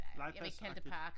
Legepladsagtig?